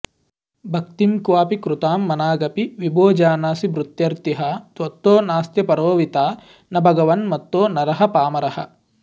भक्तिं क्वापि कृतां मनागपि विभो जानासि भृत्यार्तिहा त्वत्तो नास्त्यपरोऽविता न भगवन् मत्तो नरः पामरः